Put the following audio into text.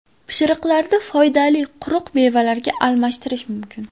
Pishiriqlarni foydali quruq mevalarga almashtirish mumkin.